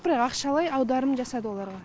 бірақ ақшалай аударым жасады оларға